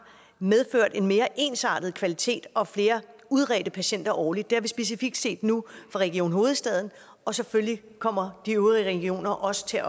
medført en mere ensartet kvalitet og flere udredte patienter årligt det har vi specifikt set nu fra region hovedstaden og selvfølgelig kommer de øvrige regioner også til